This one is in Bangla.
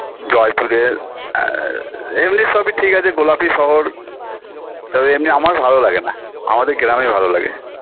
জয়পুরের আ এমনি সবই ঠিক আছে গোলাপি শহর তবে এমনি আমার ভালো লাগেনা আমাদের গ্রামই ভালো লাগে